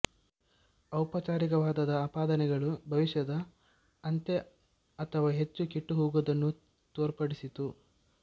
ಔಪಚಾರಿಕವಾದದ ಆಪಾದನೆಗಳು ಭವಿಷ್ಯದ ಅಂತ್ಯ ಅಥವಾ ಹೆಚ್ಚು ಕೆಟ್ಟುಹೋಗುವುದನ್ನು ತೋರ್ಪಡಿಸಿತು